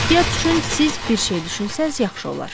Ehtiyat üçün siz bir şey düşünsəniz yaxşı olar.